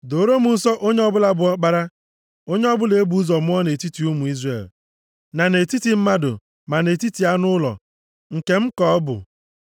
“Dooro m nsọ onye ọbụla bụ ọkpara, onye ọbụla e bụ ụzọ mụọ nʼetiti ụmụ Izrel, na nʼetiti mmadụ ma nʼetiti anụ ụlọ, nke m ka ọ bụ.”